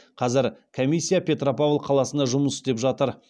қазір комиссия петропавл қаласында жұмыс істеп жатыр